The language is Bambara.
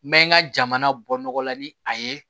N bɛ n ka jamana bɔ nɔgɔ la ni a ye